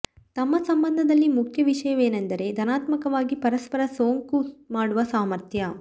ತಮ್ಮ ಸಂಬಂಧದಲ್ಲಿ ಮುಖ್ಯ ವಿಷಯವೆಂದರೆ ಧನಾತ್ಮಕವಾಗಿ ಪರಸ್ಪರ ಸೋಂಕು ಮಾಡುವ ಸಾಮರ್ಥ್ಯ